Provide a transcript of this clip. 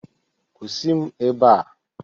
Kwụsị m ebe a!